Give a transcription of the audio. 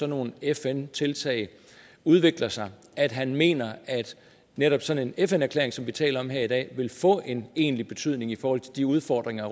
nogle fn tiltag udvikler sig at han mener at netop sådan en fn erklæring som vi taler om her i dag vil få en egentlig betydning i forhold til de udfordringer